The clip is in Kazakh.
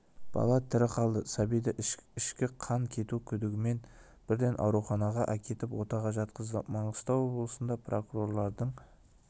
бала тірі қалды сәбиді ішкі қан кету күдігімен бірден ауруханаға әкетіп отаға жатқызды маңғыстау облысында прокурорлардың